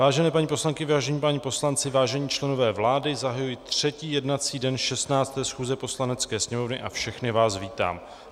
Vážené paní poslankyně, vážení páni poslanci, vážení členové vlády, zahajuji třetí jednací den 16. schůze Poslanecké sněmovny a všechny vás vítám.